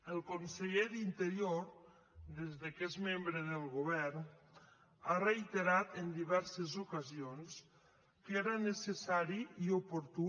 el conseller d’interior des que és membre del govern ha reiterat en diverses ocasions que era necessari i oportú